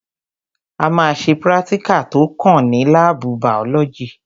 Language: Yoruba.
A ma ṣe prátíkà tó kàn ní lábù bàọ́lọ́gì.